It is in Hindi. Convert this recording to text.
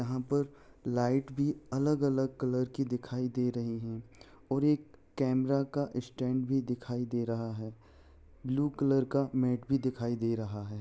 यहां पर लाइट भी अलग-अलग कलर की दिखाई दे रही है और एक कैमरा का स्टैंड भी दिखाई दे रहा है ब्लू कलर का मैट भी दिखाई दे रहा है ।